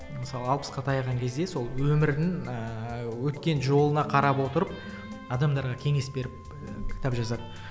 мысалға алпысқа таяған кезде сол өмірін ыыы өткен жолына қарап отырып адамдарға кеңес беріп кітап жазады